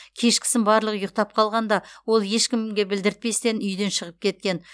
кешкісін барлығы ұйықтап қалғанда ол ешкімге білдіртпестен үйден шығып кеткен